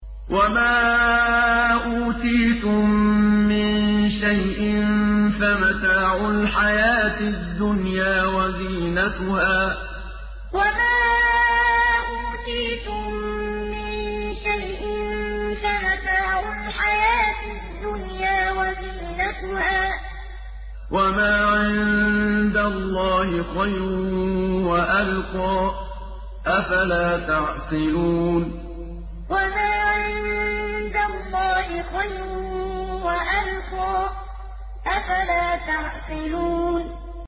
وَمَا أُوتِيتُم مِّن شَيْءٍ فَمَتَاعُ الْحَيَاةِ الدُّنْيَا وَزِينَتُهَا ۚ وَمَا عِندَ اللَّهِ خَيْرٌ وَأَبْقَىٰ ۚ أَفَلَا تَعْقِلُونَ وَمَا أُوتِيتُم مِّن شَيْءٍ فَمَتَاعُ الْحَيَاةِ الدُّنْيَا وَزِينَتُهَا ۚ وَمَا عِندَ اللَّهِ خَيْرٌ وَأَبْقَىٰ ۚ أَفَلَا تَعْقِلُونَ